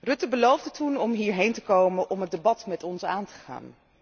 Rutte beloofde toen om hierheen te komen om het debat met ons aan te gaan.